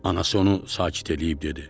Anası onu sakit eləyib dedi: